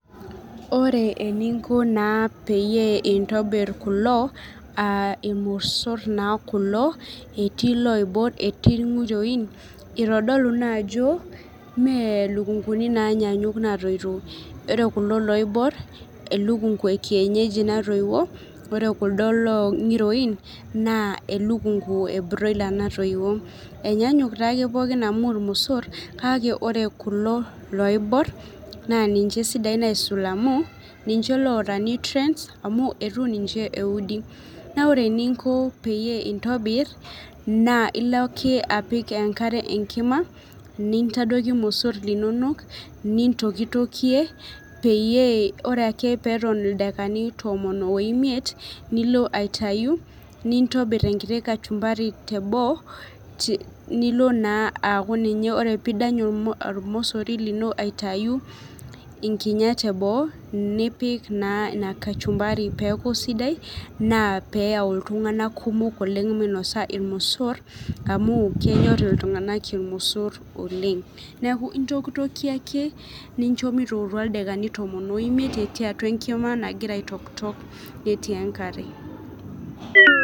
Ore eninko naa peyie intobirr kulo aa ilmosor naa kulo etii iloibor etii ilnkirroin. Itodolu naajo mee lukunkuni naanyanyuk naatoiutuo, ore kulo loibor elukunku ekienyeji naitoiwuo, ore kuldo nkiroini naa elukunku e broiler natoiwuo. Enyaanyuk taake pookin amu ilmosor kake kulo loibor naa ninje esidai aisul amu ninje loota nutrients amu eitu ninje eudi. Naa ore eninko peyie intobirr naa ilo ake apik enkare enkima, nintadoiki ilmosor linono, nintokitokie peyie ore ake peeton ildaikani tomon oimiet nilo aitayu, nintobir enkiti kachumbari teboo nilo aaku ninye ore pidany olmosori lino aitayu inkinyat eboo nipik naa ina kachumbari peeku sidai naa peeyau iltunganak kumok oleng' minosa ilmosor, amu kenyorr iltunganak ilmosor oleng'. Neeku intokitotokie ake ninjo mitootua ildaikani tomon oimiet etii atua enkima nagira aitoktok etii enkare.